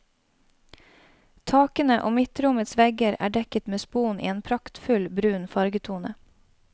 Takene og midtrommets vegger er dekket med spon i en praktfull brun fargetone.